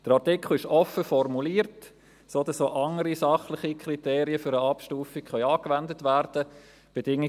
Der Artikel ist offen formuliert, sodass auch andere sachliche Kriterien für eine Abstufung angewendet werden könnten.